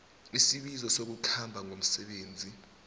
isibizo sokukhamba ngomsebenzi